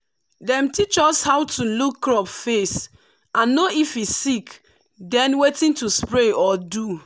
dem teach us how to look crop face and know if e sick then wetin to spray or do.